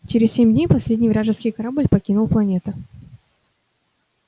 через семь дней последний вражеский корабль покинул планету